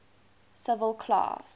civil class